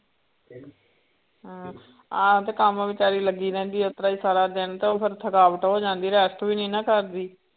ਹਮ ਆਹੋ ਤੇ ਕੰਮ ਬੇਚਾਰੀ ਲੱਗੀ ਰਹਿੰਦੀ ਆ ਉਸ ਤਰ੍ਹਾਂ ਹੀ ਸਾਰਾ ਦਿਨ ਤੇ ਉਹ ਫਿਰ ਥਕਾਵਟ ਹੋ ਜਾਂਦੀ ਹੈ rest ਵੀ ਨੀ ਨਾ ਕਰਦੀ।